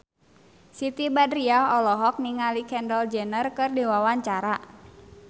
Siti Badriah olohok ningali Kendall Jenner keur diwawancara